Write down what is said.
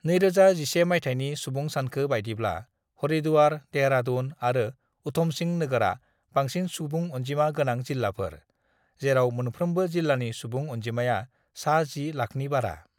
"2011 मायथाइनि सुबुं सानखो बायदिब्ला, हरिद्वार, देहेरादुन आरो उधमसिं नोगोरा बांसिन सुबुं अनजिमा गोनां जिल्लाफोर, जेराव मोनफ्रोमबो जिल्लानि सुबुं अनजिमाया सा 10 लाखनि बारा।"